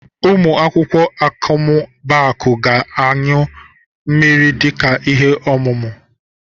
Ụmụ akwụkwọ Akọmmụbaaku ga-anyụ mmiri dịka ihe omume.